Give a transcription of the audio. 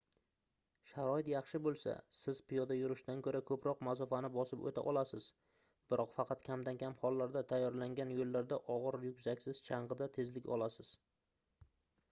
sharoit yaxshi boʻlsa siz piyoda yurishdan koʻra koʻproq masofani bosib oʻta olasiz biroq faqat kamdan-kam hollarda tayyorlangan yoʻllarda ogʻir ryukzaksiz changʻida tezlik olasiz